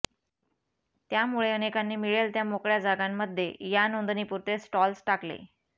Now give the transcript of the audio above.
त्यामुळे अनेकांनी मिळेल त्या मोकळ्या जागांमध्ये या नोंदणीपुरते स्टॉल्स टाकले